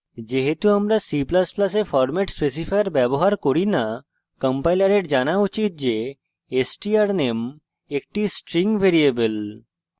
যেহেতু আমরা c ++ a format specifier ব্যবহার করি না কম্পাইলারের জানা উচিত যে strname একটি string ভ্যারিয়েবল